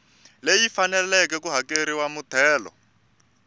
leyi faneleke ku hakerisiwa muthelo